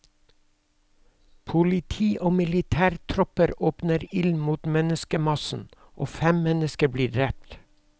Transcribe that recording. Politi og militærtropper åpner ild mot menneskemassen og fem mennesker blir drept.